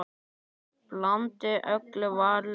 Blandið öllu varlega saman.